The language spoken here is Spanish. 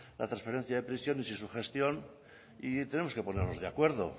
la trasferencia de prisiones y su gestión y tenemos que ponernos de acuerdo